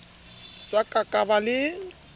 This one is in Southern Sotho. sa ka ka ba le